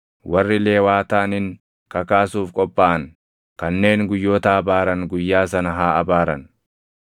Warri Lewaataanin kakaasuuf qophaaʼan, kanneen guyyoota abaaran guyyaa sana haa abaaran.